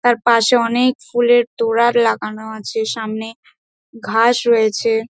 তার পাশে অনেক ফুলের তোড়া লাগানো আছে সামনে ঘাস রয়েছে।